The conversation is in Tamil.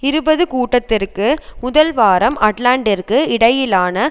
இருபது கூட்டத்திற்கு முதல் வாரம் அட்லான்டிற்கு இடையிலான